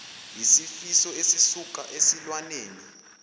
siyisifo esisuka esilwaneni